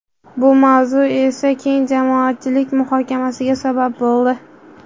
Bu mavzu esa keng jamoatchilik muhokamasiga sabab bo‘ldi.